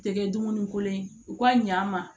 Tɛ kɛ dumuni kolon ye u ka ɲ'an ma